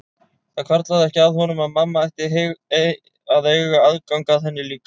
Það hvarflaði ekki að honum að mamma ætti að eiga aðgang að henni líka.